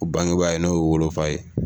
O bangebaa ye n'o ye wolofa ye